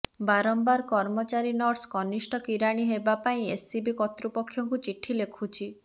ବାରମ୍ବାର କର୍ମଚାରୀ ନର୍ସ କନିଷ୍ଠ କିରାଣୀ ଦେବା ପାଇଁ ଏସ୍ସିବି କର୍ତ୍ତୃପକ୍ଷଙ୍କୁ ଚିଠି ଲେଖୁଛି